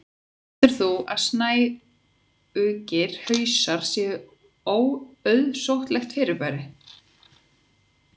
heldur þú að snæugir hausar séu óauðsóttlegt fyrirbrigði